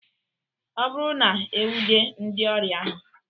Ọ bụrụ na-enwude ndị ori ahụ.